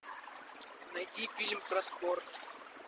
найти фильм про спорт